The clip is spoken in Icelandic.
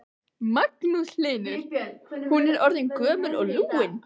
Magnús Hlynur: Hún er orðin gömul og lúin?